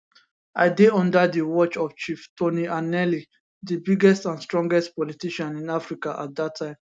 i dey under di watch of chief tony anenih di biggest and strongest politician in africa at dat time